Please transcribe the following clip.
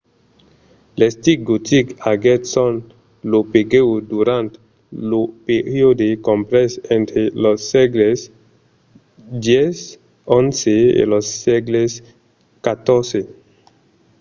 l’estic gotic aguèt son apogèu durant lo periòde comprés entre los sègles x-xi e lo sègle xiv